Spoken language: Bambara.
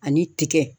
Ani tiga